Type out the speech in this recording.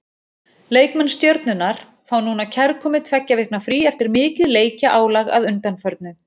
Leikmenn Stjörnunnar fá núna kærkomið tveggja vikna frí eftir mikið leikjaálag að undanförnu.